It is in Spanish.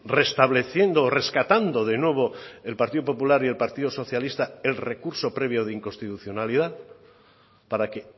restableciendo rescatando de nuevo el partido popular y el partido socialista el recurso previo de inconstitucionalidad para que